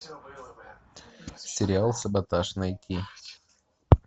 сериал саботаж найти